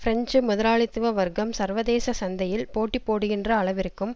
French முதலாளித்துவ வர்க்கம் சர்வதேச சந்தையில் போட்டி போடுகின்ற அளவிற்கும்